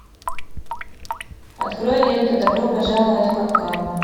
открой ленту добро пожаловать в капкан